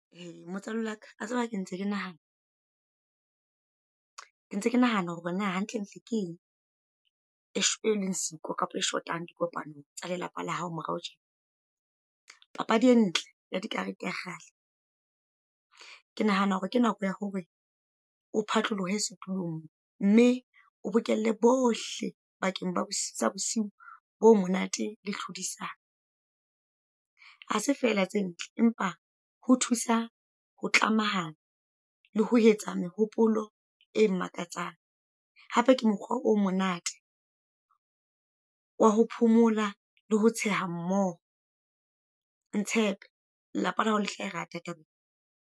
E motswalle waka a tseba ke ntse ke nahana. Ke ntse ke nahana hore na hantlentle ke eng, e e leng siko kapa e shotang, dikopanong tsa lelapa la hao morao tjena. Papadi e ntle ya dikarete ya kgale. Ke nahana hore ke nako ya hore o phatlolohe setulong, mme o bokelle bohle bakeng ba sa bosiu bo monate le tlhodisano. Ha se feela tse ntle, empa ho thusa ho tlamahana, le ho etsa mehopolo e mmakatsang. Hape ke mokgwa o monate, wa ho phomola le ho tsheha mmoho. Ntshepe, lelapa la hao le tla e rata taba e.